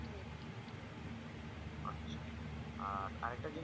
আর আরেকটা জিনিস